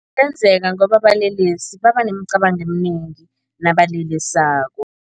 Ngoba abalelesi babanemicabango eminengi nabalelesako.